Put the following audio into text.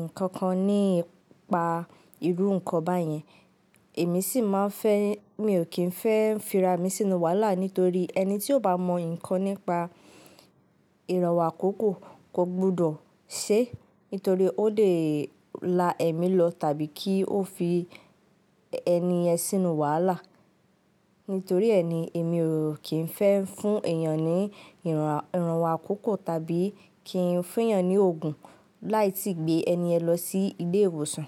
ǹkankan nípa irú nǹkan báyìí. Èmi sì máa ń fẹ́, mi ò kí ń fẹ́ ń fi ra mi sínú wàhálà nítorí ẹni tí ó bá mọ ǹkan nípa ìrànwọ́ àkókò kò gbọdọ̀ ṣé, nítorí ó lè la ẹ̀ mi lọ tàbí kí ó fi ẹni ẹ sínú wàhálà. Nítorí ẹ ni, èmi ò kí ń fẹ́ ń fún èèyàn ní ìrànwọ́ àkókò tàbí kí ń fún èèyàn ní òògùn láì tí gbé ẹni ẹ lọ sí ilé ìwòsàn.